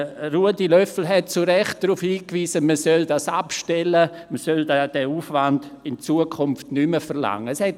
Ruedi Löffel wies zu Recht darauf hin, dass man diesen Aufwand in Zukunft nicht mehr verlangen solle.